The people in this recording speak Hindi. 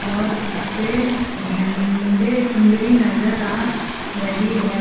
और उसपे झंडे चुनरी नजर आ रही है।